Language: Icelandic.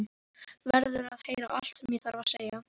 Verður að heyra allt sem ég þarf að segja.